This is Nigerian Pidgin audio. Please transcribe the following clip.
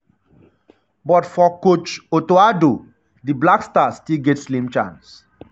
but for coach otto addo di addo di blackstars still get slim chance.